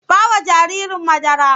Ba wa jaririn madara!